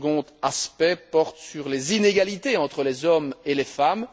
Le second aspect porte sur les inégalités entre les hommes et les femmes.